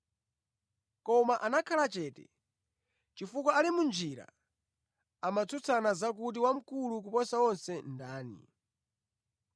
Koma anakhala chete chifukwa ali mʼnjira amatsutsana za kuti wamkulu kuposa onse ndani.